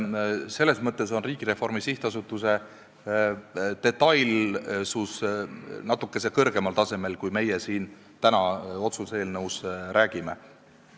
Selles mõttes on Riigireformi SA detailsus natuke kõrgemal tasemel, kui meie siin täna otsuse eelnõus räägime.